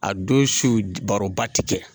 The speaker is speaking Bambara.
A don su baroba ti kɛ.